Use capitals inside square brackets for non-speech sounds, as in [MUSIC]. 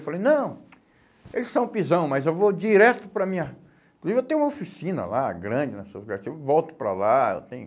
Eu falei, não, eles são pisão, mas eu vou direto para a minha... Inclusive eu tenho uma oficina lá, grande, [UNINTELLIGIBLE] eu volto para lá, eu tenho...